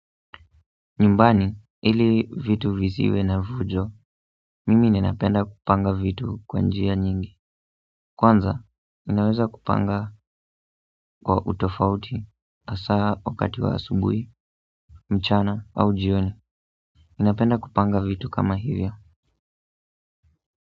Nyumbani, ili vitu visiwe na fujo, mimi ninapenda kupanga vitu kwa njia nyingi. Kwanza, ninaweza kupanga kwa utofauti, hasa, wakati wa asubuhi, mchana, au jioni. Ninapenda kupanga vitu kama hivyo.